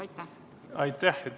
Aitäh!